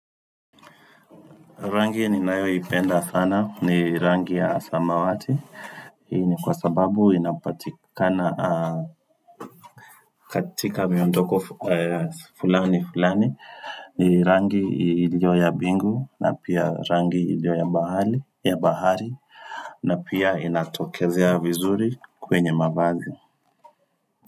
Rangi ninayoipenda sana ni rangi ya samawati. Hii ni kwa sababu inapatikana katika miondoko fulani fulani ni rangi iliyo ya bingu na pia rangi iliyo ya bahari na pia inatokezea vizuri kwenye mavazi.